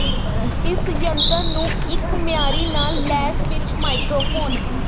ਇਸ ਜੰਤਰ ਨੂੰ ਇੱਕ ਮਿਆਰੀ ਨਾਲ ਲੈਸ ਵਿਚ ਮਾਈਕ੍ਰੋਫੋਨ